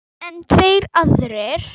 En tveir aðrir